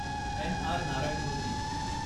N. R. Narayana Murthy